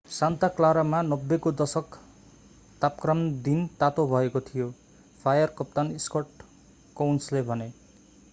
Santa क्लारामा 90 को दशक तापक्रम दिन तातो भएको थियो फायर कप्तान स्कट कोउन्सले भने